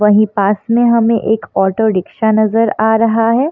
वहीं पास में हमें एक ऑटो रिक्शा नजर आ रहा है।